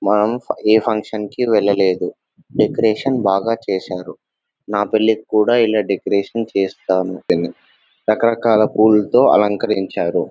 మనం ఏ ఫంక్షన్ కి వెళ్లలేదు డెకరేషన్ బాగా చేశారు నా పెళ్లి కూడా ఇలా డెకరేషన్ చేస్తాను రకరకాల పూలతో అలంకరించారు --